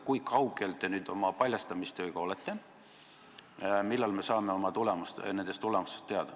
Kui kaugel te nüüd oma paljastamistega olete, millal me nendest tulemustest teada saame?